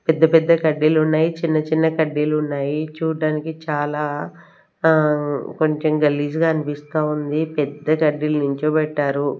పెద్ద పెద్ద కడ్డీలు ఉన్నాయి చిన్న చిన్న కడ్డీలు ఉన్నాయి చూడ్డనికి చాలా ఆ కొంచెం గల్లీజుగా అనిపిస్తా ఉంది పెద్ద కడ్డీలు నించోబెట్టారు.